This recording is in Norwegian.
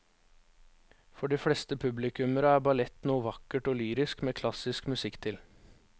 For de fleste publikummere er ballett noe vakkert og lyrisk med klassisk musikk til.